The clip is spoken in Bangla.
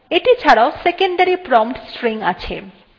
এটি ছাড়াও secondary prompt stringও আছে